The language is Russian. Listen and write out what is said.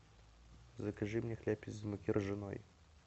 закажи мне хлеб из муки ржаной